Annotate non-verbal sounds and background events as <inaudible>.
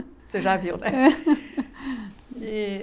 Você já viu, né? <laughs>